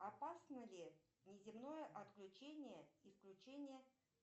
опасно ли неземное отключение и включение